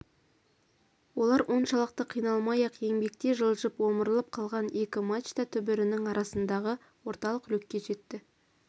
олар оншалықты қиналмай-ақ еңбектей жылжып омырылып қалған екі мачта түбірінің арасындағы орталық люкке жетті